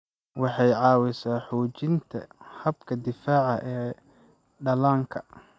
Waxay caawisaa xoojinta habka difaaca ee dhallaanka.